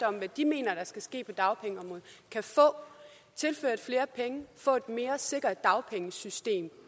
om hvad de mener der skal ske på dagpengeområdet kan få tilført flere penge få et mere sikkert dagpengesystem